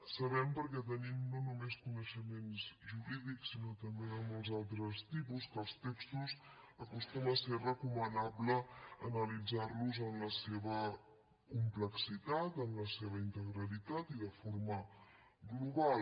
sabem perquè tenim no només coneixements jurídics sinó també de molts altres tipus que els textos acostuma a ser recomanable analitzar los en la seva complexitat en la seva integritat i de forma global